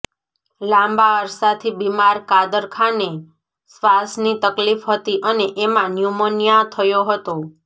લાંબા અરસાથી બીમાર કાદર ખાનને શ્વાસની તકલીફ હતી અને એમાં ન્યૂમોનિયા થયો હતો